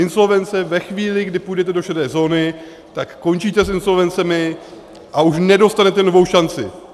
Insolvence ve chvíli, kdy půjdete do šedé zóny, tak končíte s insolvencemi a už nedostanete novou šanci.